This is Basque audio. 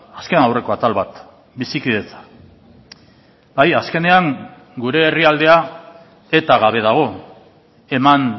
azkenaurreko atal bat bizikidetza bai azkenean gure herrialdea eta gabe dago eman